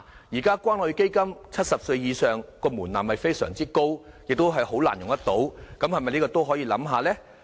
現時關愛基金的70歲以上的門檻非常高，亦難以用到，這是否可以考慮一下呢？